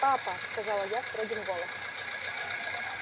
папа сказала я строгим голосом